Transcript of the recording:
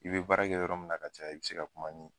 I bi baara kɛ yɔrɔ min na ka caya i be se ka kuma ni